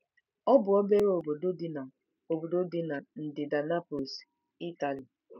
Ọ bụ obere obodo dị na obodo dị na ndịda Naples, Ịtali.